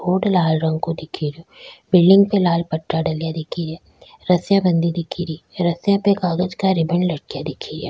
Board लाल रंग को दिखे रो बिल्डिंग पे लाल पट्टा डला दिख रा रस्सियां बंधी दिख री रस्सियां पे कागज का रिबन लटका दिख रा।